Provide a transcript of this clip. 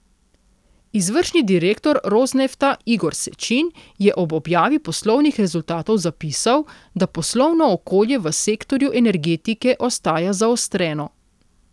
Izvršni direktor Rosnefta Igor Sečin je ob objavi poslovnih rezultatov zapisal, da poslovno okolje v sektorju energetike ostaja zaostreno.